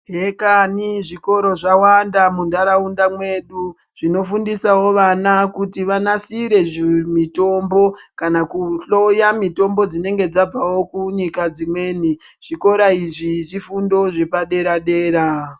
Hekani zvikoro zvawanda mundaraunda mwedu zvinofundisawo vana kuti vanasire zvimutombo kana kuhloya mitombo dzinenge dzabvawo kunyika dzimweni zvikora izvi zvifundo zvepadera dera.